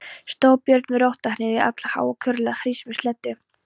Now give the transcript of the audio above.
Stóð Björn við rótarhnyðju allháa og kurlaði hrís með sleddu.